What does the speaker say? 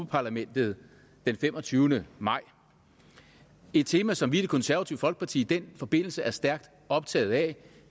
parlamentet den femogtyvende maj et tema som vi i det konservative folkeparti i den forbindelse er stærkt optaget af